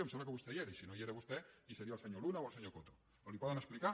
em sembla que vostè hi era i si no hi era vostè hi devia ser el senyor luna o el senyor coto però li ho poden explicar